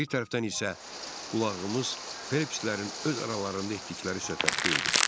Bir tərəfdən isə qulağımız Fəlibslərin öz aralarında etdikləri söhbətdə idi.